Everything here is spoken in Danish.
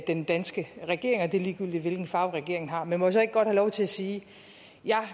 den danske regering og det er sådan ligegyldigt hvilken farve regeringen har men må jeg så ikke godt have lov til at sige at jeg